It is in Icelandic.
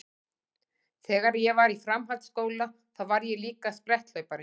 Þegar ég var í framhaldsskóla þá var ég líka spretthlaupari.